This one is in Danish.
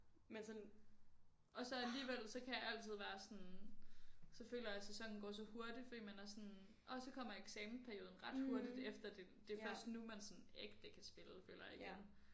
Men sådan og så alligevel så kan jeg altid være sådan så føler jeg at sæsonen går så hurtigt fordi man er sådan orh så kommer eksamensperioden ret hurtigt efter det det først nu man sådan ægte kan spille føler jeg igen